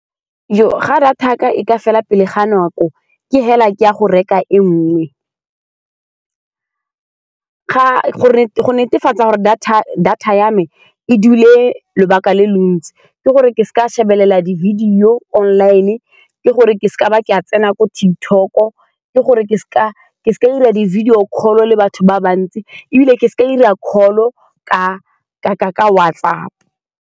Fa data ya ka e ka fela pele ga nako, ke fela ke ya go reka e nngwe, ga gore , go netefatsa gore data-data ya me e dule lobaka le le ntsi ke gore ke seka ka shebelela di-video online. Ke gore ke seka, ke seka ka ba ka tsena ko TikTok-o, ke gore ke seka ka ba 'ira di-video call-o le batho ba bantsi, ebile ke seka ka 'ira call-o ka-ka-ka WhatsApp-o.